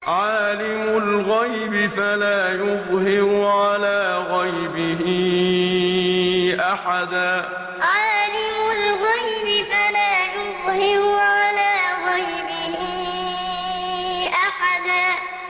عَالِمُ الْغَيْبِ فَلَا يُظْهِرُ عَلَىٰ غَيْبِهِ أَحَدًا عَالِمُ الْغَيْبِ فَلَا يُظْهِرُ عَلَىٰ غَيْبِهِ أَحَدًا